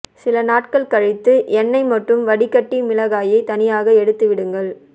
சில நாட்கள் கழித்து எண்ணெய் மட்டும் வடிகட்டி மிளகாயை தனியாக எடுத்து விடுங்கள்